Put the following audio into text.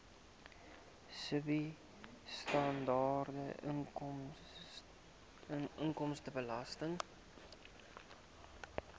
sibw standaard inkomstebelasting